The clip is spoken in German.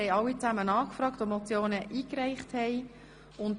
Wir haben alle angefragt, die Motionen eingereicht haben.